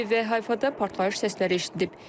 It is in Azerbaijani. Tel-Əviv və Hayfada partlayış səsləri eşidilib.